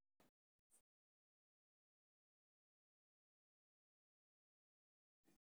Maxaa sababa tirtiridda hal shan q hal hal dibic labaad?